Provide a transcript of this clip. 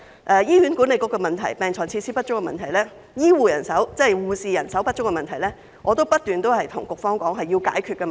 就醫管局的問題、病床設施不足的問題、護士人手不足的問題，我已不斷告訴局方，這些都是需要解決的問題。